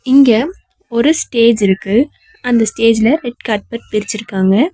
இங்க ஒரு ஸ்டேஜ் இருக்கு அந்த ஸ்டேஜ்ல ரெட் கார்பெட் விருச்சிருக்காங்க.